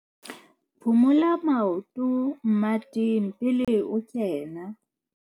Phumula maoto mmeteng pele o kena.